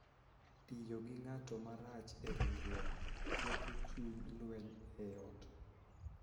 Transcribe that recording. Tiyo gi ng�ato marach e ringruok, ketho chuny, lweny e ot,